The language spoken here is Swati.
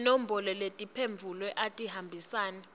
tinombolo tetimphendvulo atihambisane